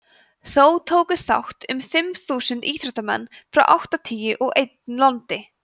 þó tóku þátt um fimm þúsund íþróttamenn frá áttatíu og einn landi